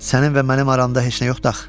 Sənin və mənim aramda heç nə yoxdu axı?